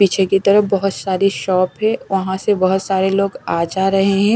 पीछे की तरफ बहोत सारी शॉप है वहां से बहोत सारे लोग आ जा रहे हैं।